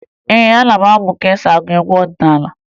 Ee, aga m amụ ka e si agụ egwu ọdịnaala